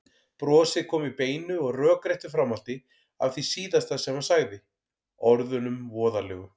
Brosið kom í beinu og rökréttu framhaldi af því síðasta sem hann sagði, orðunum voðalegu.